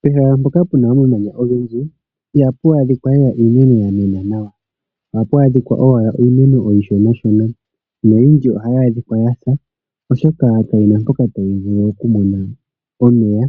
Pehala mpoka pu na omamanya ogendji ihapu adhika lela iimeno ya mena nawa. Ohapu adhika owala iimeno iishonashona noyindji ohayi adhika ya sa, oshoka ka yi na mpoka tayi vulu oku mona omeya